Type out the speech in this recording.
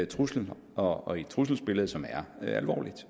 trusler og et trusselsbillede som er alvorligt